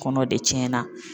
Kɔnɔ de tiɲɛ na.